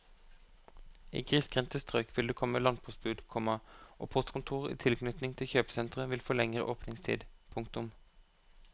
I grissgrendte strøk vil det komme landpostbud, komma og postkontorer i tilknytning til kjøpesentre vil få lengre åpningstid. punktum